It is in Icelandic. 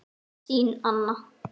Þín Anna.